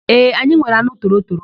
Ee, anyị nwere anụ torotoro.